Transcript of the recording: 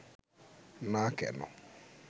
না কেন